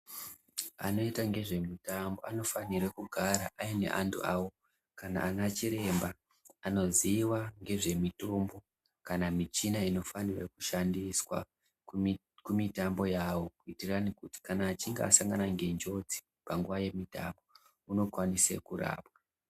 Anoita ngezvemutambo anofanira kugara paine antu awo kana ana chiremba anoziva ngezvemitombo kana michina inofanirwa kushandiswa kumitambo yavo kuti kana asangana ngenjodzi panguwa yemitambo anokwanise kurapwa